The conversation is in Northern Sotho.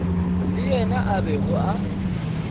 le yena a bego a